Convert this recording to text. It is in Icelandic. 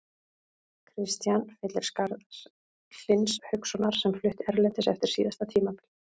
Kristian fyllir skarð Hlyns Haukssonar sem flutti erlendis eftir síðasta tímabil.